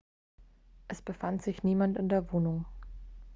es befand sich niemand in der wohnung